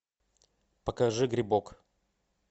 покажи грибок